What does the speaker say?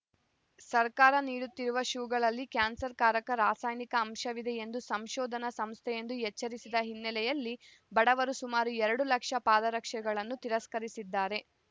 ಸರ್ಕಾರ ನೀಡುತ್ತಿರುವ ಶೂಗಳಲ್ಲಿ ಕ್ಯಾನ್ಸರ್‌ಕಾರಕ ರಾಸಾಯನಿಕ ಅಂಶವಿದೆ ಎಂದು ಸಂಶೋಧನಾ ಸಂಸ್ಥೆಯೊಂದು ಎಚ್ಚರಿಸಿದ ಹಿನ್ನೆಲೆಯಲ್ಲಿ ಬಡವರು ಸುಮಾರು ಎರಡು ಲಕ್ಷ ಪಾದರಕ್ಷೆಗಳನ್ನು ತಿರಸ್ಕರಿಸಿದ್ದಾರೆ